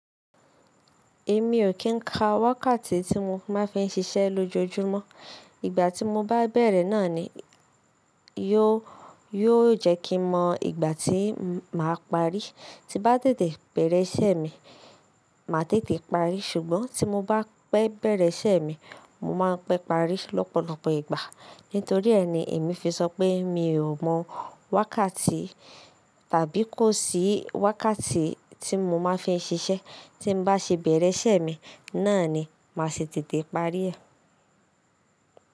Èmi ò kì í ka wákàtí tí mo máa fi ń ṣiṣẹ́ lójoojúmọ́. Ìgbà tí mo bá bẹ̀rẹ̀ náà ni yóò jẹ́ kí mọ ìgbà tí màá parí. Ti m bá tètè bẹ̀rẹ̀ iṣẹ́ mi, màá tètè parí ṣùgbọ́n tí mo bá pẹ́ bẹ̀rẹ̀ iṣẹ́ mi, mó máa pẹ́ parí lọ́pọ̀lọpọ̀ ìgbà. Nítorí ẹ ni èmi fi sọ pé mi ò mọ wákàtí tàbí kò sí wákàtí tí mo máa fi ń ṣiṣẹ́. Ti m bá ṣe bẹ̀rẹ̀ iṣẹ́ mi, náà ni màá ṣe tètè parí ẹ̀.